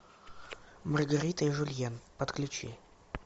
маргарита и жюльен подключи